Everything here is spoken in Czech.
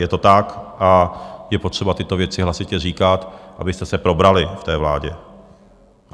Je to tak a je potřeba tyto věci hlasitě říkat, abyste se probrali v té vládě.